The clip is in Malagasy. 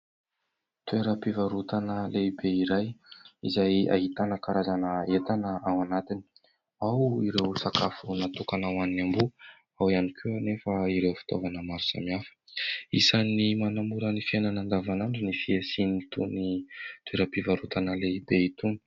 Toeram-pivarotana lehibe iray izay ahitana karazana entana ao anatiny : ao ireo sakafo natokana ho an'ny amboa, ao ihany koa anefa ireo fitaovana maro samihafa. Isan'ny manamora ny fiainana andavanandro ny fisian'itony toeram-pivarotana lehibe itony.